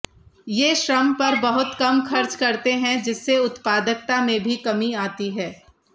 ये श्रम पर बहुत कम खर्च करते हैं जिससे उत्पादकता में भी कमी आती है